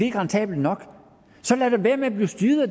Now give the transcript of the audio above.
er rentabelt nok så lad da være med at blive styret af